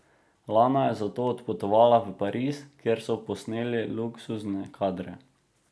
Lana je zato odpotovala v Pariz, kjer so posneli luksuzne kadre.